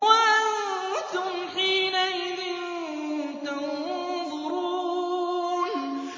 وَأَنتُمْ حِينَئِذٍ تَنظُرُونَ